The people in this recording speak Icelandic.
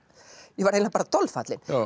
ég var eiginlega dolfallin